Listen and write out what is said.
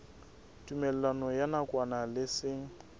tumellano ya nakwana le seng